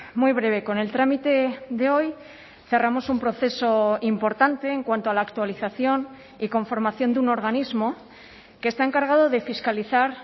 muy breve con el trámite de hoy cerramos un proceso importante en cuanto a la actualización y conformación de un organismo que está encargado de fiscalizar